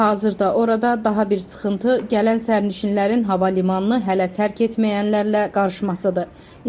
Hazırda orada daha bir sıxıntı gələn sərnişinlərin hava limanını hələ tərk etməyənlərlə qarışmasıdır.